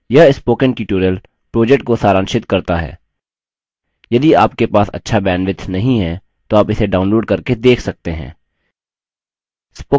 यह spoken tutorial project को सारांशित करता है यदि आपके पास अच्छा bandwidth नहीं है तो आप इसे download करके देख सकते हैं